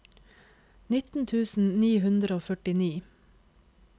nitten tusen ni hundre og førtini